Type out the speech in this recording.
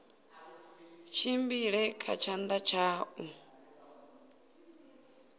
tshimbile kha tshanḓa tsha u